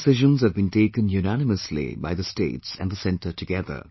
All decisions have been taken unanimously by the states and the Centre together